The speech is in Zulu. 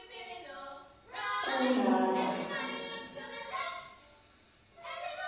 kunanta